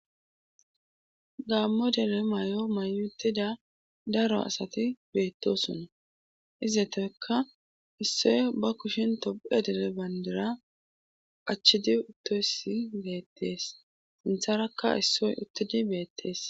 Gaammo dele may7o mayutida daro asati beettoson izetoykka issoy ba kushin tophe dele bandera achchidi uttoysi beettees sintharakka issoy uttidi beettees.